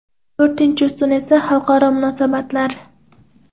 To‘rtinchi ustun esa xalqaro munosabatlar.